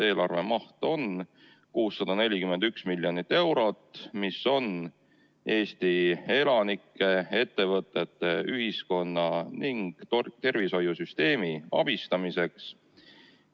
Eelarve maht on 641 miljonit eurot, mis on mõeldud Eesti elanike, ettevõtete, ühiskonna ning tervishoiusüsteemi abistamiseks.